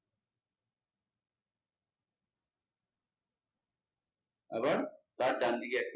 আবার তার ডানদিকে একটা